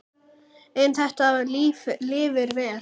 En þetta lifir vel.